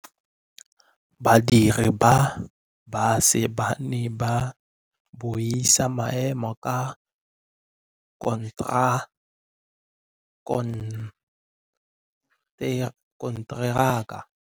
Badiri ba baša ba ne ba buisa maêmô a konteraka.